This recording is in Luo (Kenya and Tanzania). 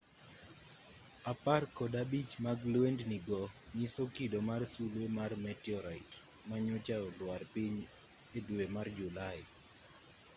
apar kod abich mag lwendni go nyiso kido mar sulwe mar meteorite manyocha olwar piny e dwe mar julai